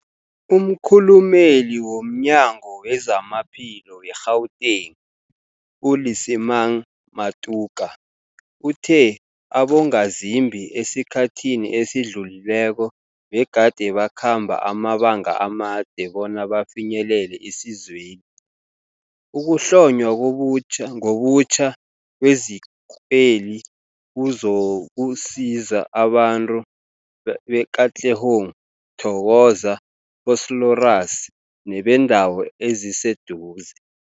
Umkhulumeli womNyango weZamaphilo we-Gauteng, u-Lesemang Matuka uthe abongazimbi esikhathini esidlulileko begade bakhamba amabanga amade bona bafinyelele isizweli. Ukuhlonywa ngobutjha kwezikweli kuzokusiza abantu be-Katlehong, Thokoza, Vosloorus nebeendawo eziseduze.